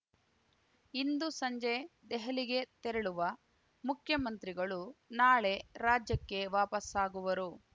ಇಂದು ಸಂಜೆ ದೆಹಲಿಗೆ ತೆರಳುವ ಮುಖ್ಯಮಂತ್ರಿಗಳು ನಾಳೆ ರಾಜ್ಯಕ್ಕೆ ವಾಪಾಸ್ಸಾಗುವರು